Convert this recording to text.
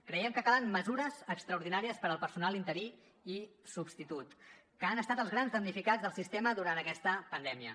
creiem que calen mesures extraordinàries per al personal interí i substitut que han estat els grans damnificats del sistema durant aquesta pandèmia